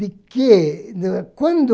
De que... Quando...